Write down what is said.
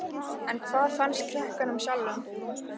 En hvað fannst krökkunum sjálfum?